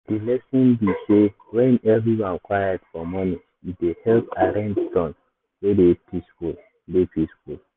the lesson be sey when everywhere quiet for morning e dey help arrange tone wey dey peaceful. dey peaceful.